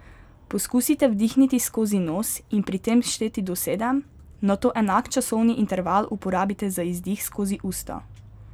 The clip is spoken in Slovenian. Poskusite vdihniti skozi nos in pri tem šteti do sedem, nato enak časovni interval uporabite za izdih skozi usta.